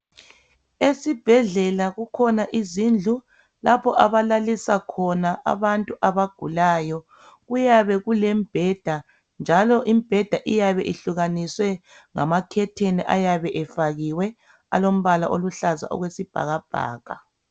Esibhedlela kukhona izindlu lapho abablalisa khona abantu abagulayo. Kuyabe kulembheda, njalo imbheda iyabe ihlukanisiwe ngamakhetheni ayabe efakiwe alombala oluhlaza okwesibhakabhaka.